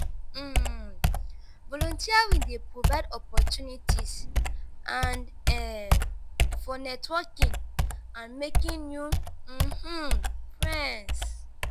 um volunteering dey provide opportunties and um for networking and making new um friends.